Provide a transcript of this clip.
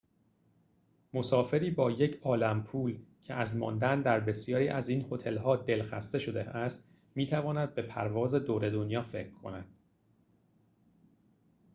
مسافری با یک‌عالم پول که از ماندن در بسیاری از این هتل‌ها دل‌خسته شده است می‌تواند به پرواز دور دنیا فکر کند